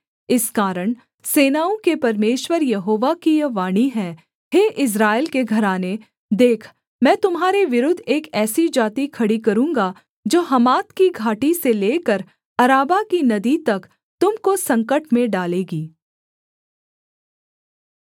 इस कारण सेनाओं के परमेश्वर यहोवा की यह वाणी है हे इस्राएल के घराने देख मैं तुम्हारे विरुद्ध एक ऐसी जाति खड़ी करूँगा जो हमात की घाटी से लेकर अराबा की नदी तक तुम को संकट में डालेगी